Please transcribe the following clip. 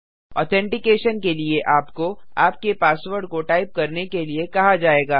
authentication के लिए आपको आपके पासवर्ड को टाइप करने के लिए कहा जायेगा